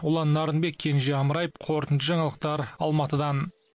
ұлан нарынбек кенже амраев қорытынды жаңалықтар алматыдан